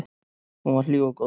Hún var hlý og góð.